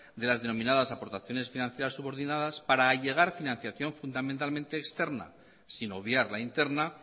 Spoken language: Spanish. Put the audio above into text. de las denominadas aportaciones financieras subordinadas para allegar financiación fundamentalmente externa sin obviar la interna